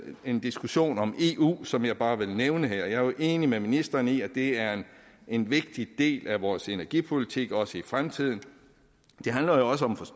en diskussion om eu som jeg bare vil nævne her jeg er jo enig med ministeren i at det er en vigtig del af vores energipolitik også i fremtiden